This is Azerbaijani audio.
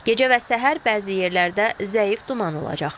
Gecə və səhər bəzi yerlərdə zəif duman olacaq.